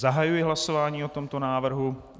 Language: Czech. Zahajuji hlasování o tomto návrhu.